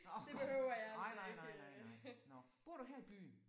Nåh nej nej nej nej nej. Nåh bor du her i byen?